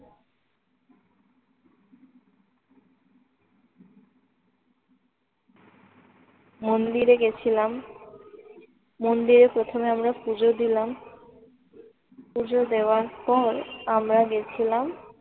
মন্দিরে গেছিলাম। মন্দিরে প্রথমে আমরা পুজো দিলাম। পুজো দেওয়ার পর আমরা গেছিলাম